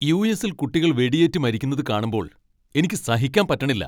യു.എസ്സിൽ കുട്ടികൾ വെടിയേറ്റുമരിക്കുന്നത് കാണുമ്പോൾ എനിക്ക് സഹിക്കാൻ പറ്റണില്ല.